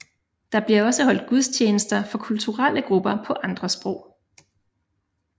Der bliver også holdt gudstjenester for kulturelle grupper på andre sprog